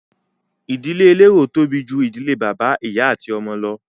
Ìdílé elérò tóbi ju ìdílé bàbá, ìyá ati ọmọ lọ.